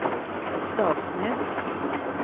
Stavsnäs